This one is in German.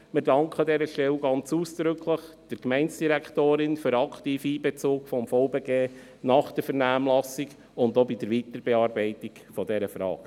Wir danken an dieser Stelle der Gemeindedirektorin ganz ausdrücklich für den aktiven Einbezug des VBG nach der Vernehmlassung und auch bei der Weiterbearbeitung dieser Frage.